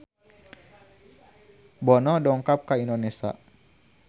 Bono dongkap ka Indonesia